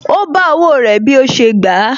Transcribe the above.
Ó bá owó rẹ̀ bí ó ṣe gbà á